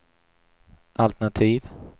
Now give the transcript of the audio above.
altenativ